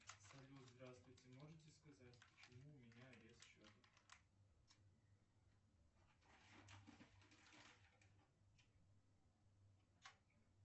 салют здравствуйте можете сказать почему у меня арест счета